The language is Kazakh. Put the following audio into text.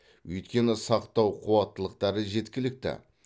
өйткені сақтау қуаттылықтары жеткілікті